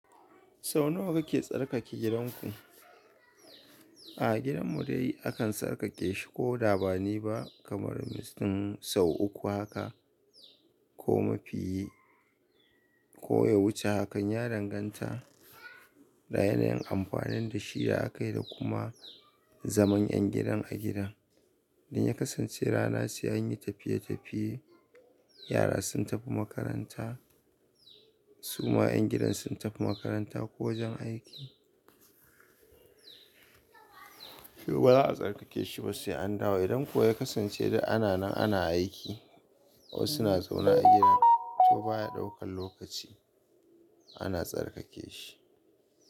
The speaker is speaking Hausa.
Sau nawa kake tsarkake gidanku? A gidan mu dai akan tsarkake shi ko da ba ni ba kamar mutum sau uku haka ko mafi, ko ya wuce hakan. Ya danganta da yanayin amfanin da shi da aka yi da kuma zaman ƴan gidan a gidan. Idan ya kasance rana sai an yi tafiye-tafiye, yara sun tafi makaranta, su ma ƴan gidan sun tafi makaranta ko wajen aiki, to ba za a tsarkake shi ba sai an dawo. Idan kuwa ya kasance da ana nan ana aiki ko suna zaune a gidan, to baya ɗaukan lokaci ana tsarkake shi.